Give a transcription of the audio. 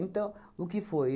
Então, o que foi?